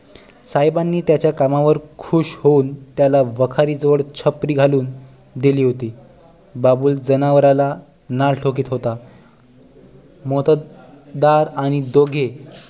साहेबांनी त्याच्या कामावर खुश होऊन त्याला वखारी जवळ छपरी घालून दिली होती बाबूल जनावराला नाल ठोकित होता मोत्तद्दार आणि दोघे